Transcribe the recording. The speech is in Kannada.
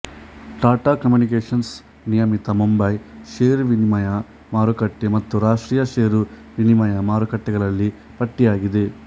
ಟಾಟಾ ಕಮ್ಯೂನಿಕೇಶನ್ಸ್ ನಿಯಮಿತ ಮುಂಬಯಿ ಷೇರು ವಿನಿಮಯ ಮಾರುಕಟ್ಟೆ ಮತ್ತು ರಾಷ್ಟ್ರೀಯ ಷೇರು ವಿನಿಮಯ ಮಾರುಕಟ್ಟೆಗಳಲ್ಲಿ ಪಟ್ಟಿಯಗಿದೆ